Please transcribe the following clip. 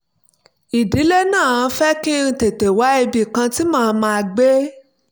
ìdílé náà fẹ́ kí n tètè wá ibì kan tí màá máa gbé